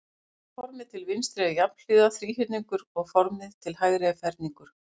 Formið til vinstri er jafnhliða þríhyrningur og formið til hægri er ferningur.